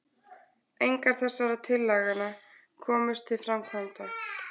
engar þessara tillagna komust til framkvæmda